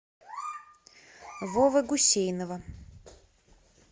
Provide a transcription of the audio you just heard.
вовы гусейнова